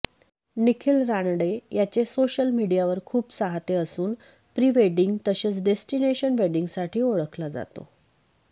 निखिल रानडे याचे सोशल मीडियावर खूप चाहते असून प्री वेडिंग तसेच डेस्टिनेशन वेडिंगसाठी ओळखला जातो